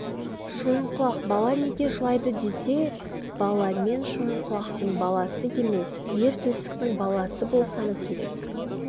шойынқұлақ бала неге жылайды десе балаң мен шойынқұлақтың баласы емес ер төстіктің баласы болсам керек